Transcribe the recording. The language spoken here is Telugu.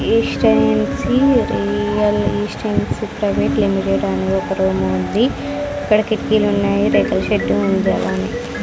ఇస్టెన్సీ రియల్ ఇస్టెన్సీ ప్రైవేట్ లిమిటెడ్ అని ఒక రూమ్ ఉంది. అక్కడ కిటికీలు ఉన్నాయి రేకుల షెడ్ ఉంది అలానే.